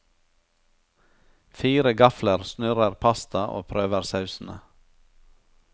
Fire gafler snurrer pasta og prøver sausene.